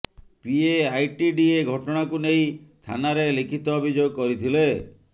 ପିଏ ITDA ଘଟଣାକୁ ନେଇ ଥାନାରେ ଲିଖିତ ଅଭିଯୋଗ କରିଥିଲେ